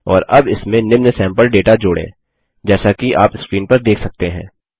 और अब इसमें निम्न सैम्पल डेटा जोड़ें जैसा कि आप स्क्रीन पर देख सकते हैं